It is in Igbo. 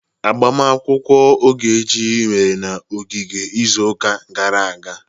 Agbamakwụkwọ Ogechi mere na ogige izuụka gara aga.